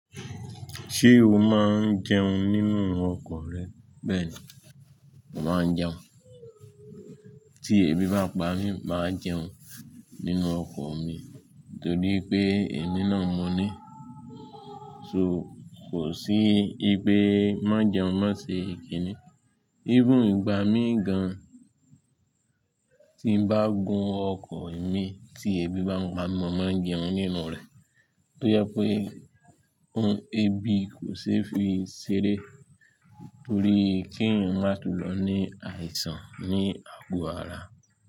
Ṣé o máa ń jẹun nínú ọkọ̀ rẹ? Bẹ́ẹ̀ni, mo máa ń jẹun. Tí ebi bá pa mí máa jẹun nínú ọkọ̀ mi nítorí pé èmi náà mọ̀ ní. So kò sí igbe má jẹun má ṣe kì í ni. Even ìgbà mí gan tí n bá gùn ọkọ̀ mi tí ebi bá ń pa mi máa jẹun nínú rẹ̀. To jẹ pé ohun ebi kò ṣe é fi ṣeré torí kí eyan má tún lọ ní àìsàn ní àgò ara.